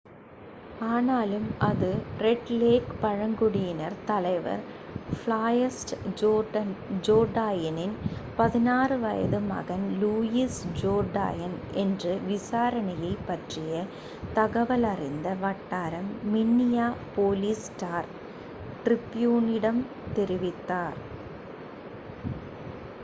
ஆனாலும் அது Red Lake பழங்குடியினர் தலைவர் ஃப்ளாய்ட் ஜோர்டாய்னின் 16 வயது மகன் லூயிஸ் ஜோர்டாய்ன் என்று விசாரணையைப் பற்றிய தகவலறிந்த வட்டாரம் மின்னியாபோலிஸ் ஸ்டார் ட்ரிப்யூனிடம் தெரிவித்தனர்